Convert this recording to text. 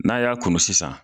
N'a y'a kunu sisan